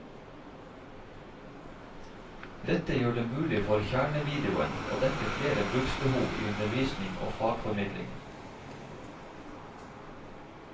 Dette gjør det mulig for kjernevideoen å dekke flere bruksbehov i undervisning og fagformidling.